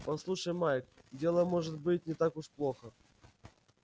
послушай майк дело может быть не так уж плохо